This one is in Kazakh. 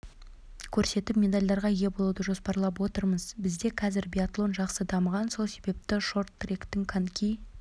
көрсетіп медальдарға ие болуды жоспарлап отырмыз бізде қазір биатлон жақсы дамыған сол себепті шорт-тректің коньки